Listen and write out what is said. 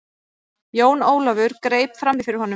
Jón Ólafur greip framí fyrir honum.